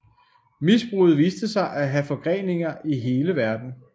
Misbruget viste sig at have forgreninger i hele verden